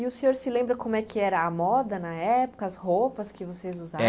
E o senhor se lembra como é que era a moda na época, as roupas que vocês usavam? É